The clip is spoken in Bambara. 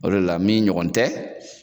O de la min ɲɔgɔn tɛ